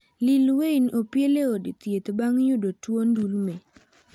Lil Wayne opiele e od thieth bang' yudo tuo ndulme.